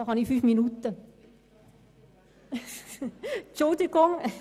Deshalb habe ich meines Wissens fünf Minuten zur Verfügung.